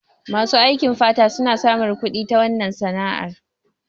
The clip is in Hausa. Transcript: Masu aikin fata suna samun kudi ta wannan sana'ar